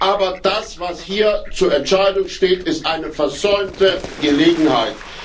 Aber das, was hier zur Entscheidung steht, ist eine versäumte Gelegenheit.